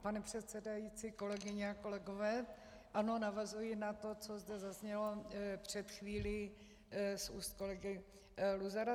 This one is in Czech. Pane předsedající, kolegyně a kolegové, ano, navazuji na to, co zde zaznělo před chvílí z úst kolegy Luzara.